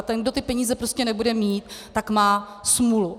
A ten, kdo ty peníze prostě nebude mít, tak má smůlu.